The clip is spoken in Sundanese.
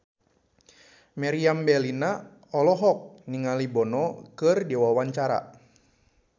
Meriam Bellina olohok ningali Bono keur diwawancara